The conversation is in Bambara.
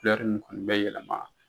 nin bɛ yɛlɛma.